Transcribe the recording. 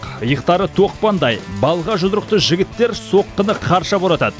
иықтары тоқпандай балға жұдырықты жігіттер соққыны қарша боратады